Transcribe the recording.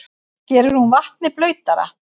Gerir hún vatnið blautara?